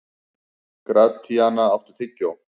Gratíana, áttu tyggjó?